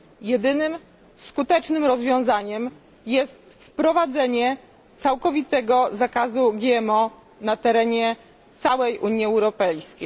Jedynym skutecznym rozwiązaniem jest wprowadzenie całkowitego zakazu GMO na terenie całej Unii Europejskiej.